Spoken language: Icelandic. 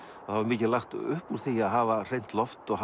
og það var mikið lagt upp úr því að hafa hreint loft og